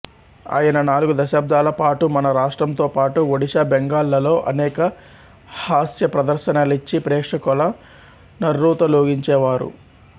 ఆయన నాలుగు దశాబ్దాల పాటుమన రాష్ట్రంతోపాటుఒడిషాబెంగాల్ లలో అనేక హాస్యప్రదర్శనలిచ్చి ప్రేక్షకుల నుర్రూతలూగించేరు